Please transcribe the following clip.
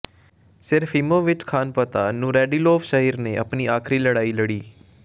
Serafimovich Khanpasha Nuradilov ਸ਼ਹਿਰ ਨੇ ਆਪਣੀ ਆਖਰੀ ਲੜਾਈ ਲੜੀ